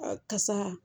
Kasa